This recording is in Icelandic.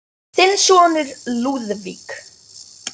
Þinn sonur, Lúðvík.